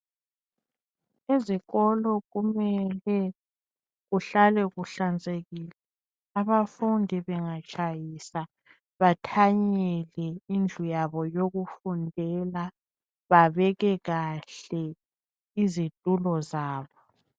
Ezikolo kumele kuhlale kuhlanzekile abafundi bengatshayisa bathanyele indlu yabo yokufundela babeke kahle izitulo zabo